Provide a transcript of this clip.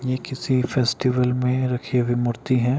ये किसी फेस्टिवल में रखी हुई मूर्ति है।